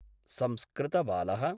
संस्कृतबालः